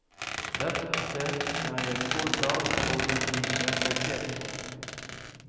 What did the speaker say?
Dette er jeg stolt av, og vil bli respektert for.